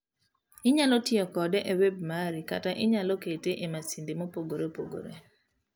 Inyalo tiyo kode e wb mari kata inyalo kete e masinde mopogre opogre.